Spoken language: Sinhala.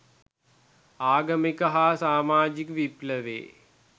ආගමික හා සාමාජික විප්ලවයේ